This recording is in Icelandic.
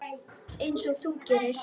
Einsog þú gerir?